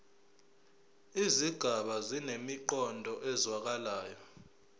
izigaba zinemiqondo ezwakalayo